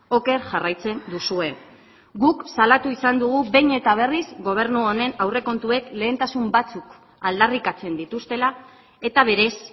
oker jarraitzen duzue guk salatu izan dugu behin eta berriz gobernu honen aurrekontuek lehentasun batzuk aldarrikatzen dituztela eta berez